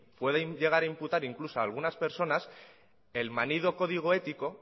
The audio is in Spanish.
pueden llegar a imputar incluso a algunas personas el manido código ético